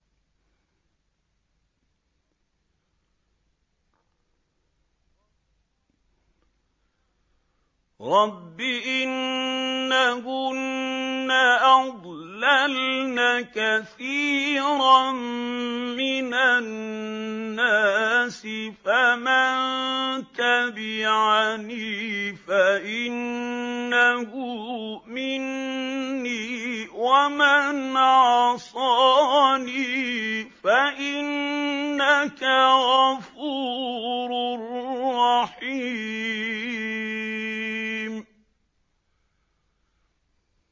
رَبِّ إِنَّهُنَّ أَضْلَلْنَ كَثِيرًا مِّنَ النَّاسِ ۖ فَمَن تَبِعَنِي فَإِنَّهُ مِنِّي ۖ وَمَنْ عَصَانِي فَإِنَّكَ غَفُورٌ رَّحِيمٌ